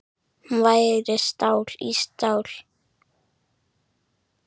Hún væri stál í stál.